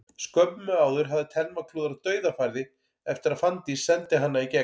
Skömmu áður hafði Telma klúðrað dauðafæri eftir að Fanndís sendi hana í gegn.